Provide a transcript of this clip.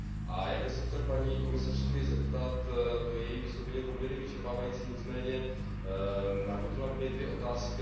A já bych se chtěl paní komisařky zeptat to její vystoupení bylo poměrně vyčerpávající nicméně navodila mi dvě otázky.